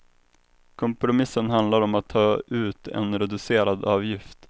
Kompromissen handlar om att ta ut en reducerad avgift.